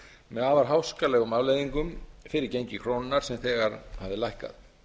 með afar háskalegum afleiðingum fyrir gengi krónunnar sem þegar hafði lækkað